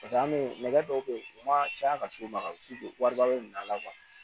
Paseke an be nɛgɛ dɔw be yen u ma caya ka s'o ma ka wariba la